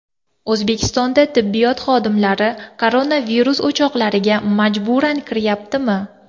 O‘zbekistonda tibbiyot xodimlari koronavirus o‘choqlariga majburan kiryaptimi?